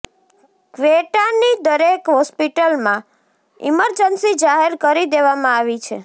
કવેટાની દરેક હોસ્પિટલમાં ઈમરજન્સી જાહેર કરી દેવામાં આવી છે